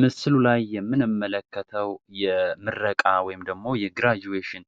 ምስሉ ላይ የምንመለከተው የምረቃ ወይም ደግሞ የግራduaton